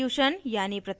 substitution यानी प्रतिस्थापन